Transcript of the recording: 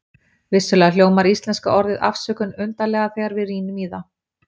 vissulega hljómar íslenska orðið afsökun undarlega þegar við rýnum í það